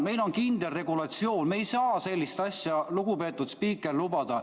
Meil on kindel regulatsioon, me ei saa sellist asja, lugupeetud spiiker, lubada.